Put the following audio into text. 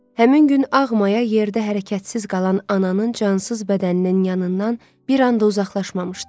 Həmin gün ağ maya yerdə hərəkətsiz qalan ananın cansız bədəninin yanından bir an da uzaqlaşmamışdı.